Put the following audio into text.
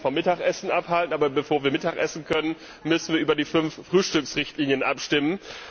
Ich möchte keinen vom Mittagessen abhalten, aber bevor wir mittagessen können, müssen wir uns die fünf Frühstücksrichtlinien abstimmen.